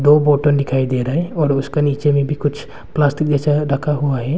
दो बोटन दिखाई दे रहा है और उसका नीचे में भी कुछ प्लास्टिक जैसा रखा हुआ है।